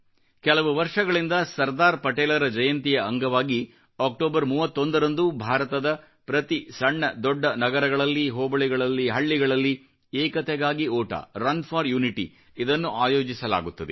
ಕೆಲವು ವರ್ಷಗಳಿಂದ ಸರ್ದಾರ್ ಪಟೇಲರ ಜಯಂತಿಯ ಅಂಗವಾಗಿ ಅಕ್ಟೋಬರ್ 31 ರಂದು ಭಾರತದ ಪ್ರತಿ ಸಣ್ಣದೊಡ್ಡ ನಗರಗಳಲ್ಲಿ ಹೋಬಳಿಗಳಲ್ಲಿ ಹಳ್ಳಿಗಳಲ್ಲಿ ಏಕತೆಗಾಗಿ ಓಟ ರನ್ ಫೋರ್ ಯುನಿಟಿ ವನ್ನು ಆಯೋಜಿಸಲಾಗುತ್ತದೆ